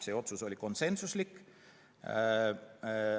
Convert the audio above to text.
See otsus oli konsensuslik.